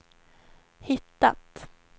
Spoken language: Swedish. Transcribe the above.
hittat